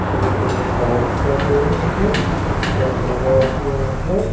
दो लोग काम कर रहे हैं पिलर लगा हुआ है।